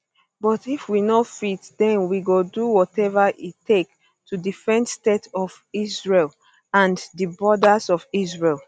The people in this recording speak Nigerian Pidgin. but if we no fit den we go do whatever e take to defend state of israel and di borders of israel